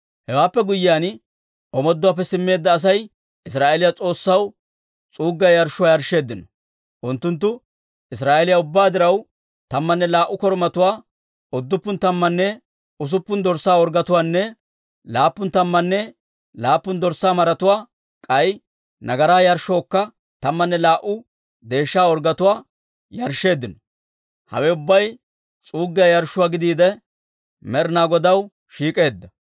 Hewaappe guyyiyaan, omooduwaappe simmeedda Asay Israa'eeliyaa S'oossaw s'uuggiyaa yarshshuwaa yarshsheeddino. Unttunttu Israa'eeliyaa ubbaa diraw, tammanne laa"u korumatuwaa, udduppun tammanne usuppun dorssaa orggetuwaanne laappun tammanne laappun dorssaa maratuwaa, k'ay nagaraa yarshshookka tammanne laa"u deeshsha orggetuwaa yarshsheeddino. Hawe ubbay s'uuggiyaa yarshshuwaa gidiide, Med'ina Godaw shiik'eedda.